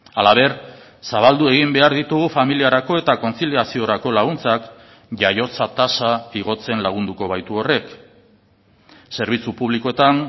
halaber zabaldu egin behar ditugu familiarako eta kontziliaziorako laguntzak jaiotza tasa igotzen lagunduko baitu horrek zerbitzu publikoetan